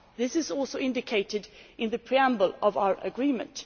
This is also indicated in the preamble of our agreement.